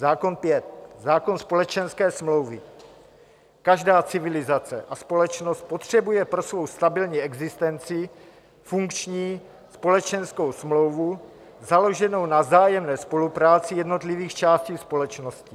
Zákon pět - zákon společenské smlouvy: Každá civilizace a společnost potřebuje pro svou stabilní existenci funkční společenskou smlouvu založenou na vzájemné spolupráci jednotlivých částí společnosti.